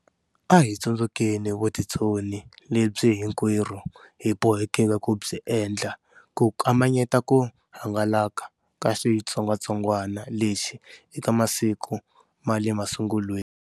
A hi tsundzukeni vutitsoni lebyi hinkwerhu hi bohekeke ku byi endla ku kamanyeta ku hangalaka ka xitsongwatsongwana lexi eka masiku ma le masungulweni.